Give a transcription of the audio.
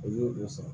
O y'o de sɔrɔ